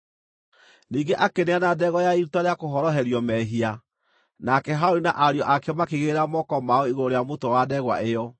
Ningĩ akĩneana ndegwa ya iruta rĩa kũhoroherio mehia, nake Harũni na ariũ ake makĩigĩrĩra moko mao igũrũ rĩa mũtwe wa ndegwa ĩyo.